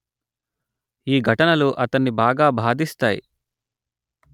ఈ ఘటనలు అతన్ని బాగా బాధిస్తాయి